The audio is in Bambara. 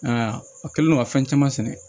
a kɛlen do ka fɛn caman sɛnɛ